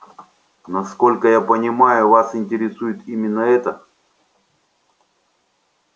насколько я понимаю вас интересует именно это